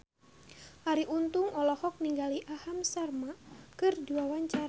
Arie Untung olohok ningali Aham Sharma keur diwawancara